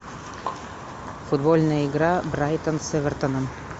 футбольная игра брайтон с эвертоном